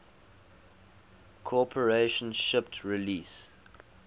corporation shipped release